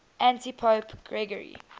antipope gregory